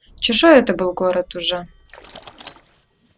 чужой это был город уже